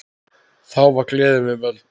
Þá var gleðin við völd.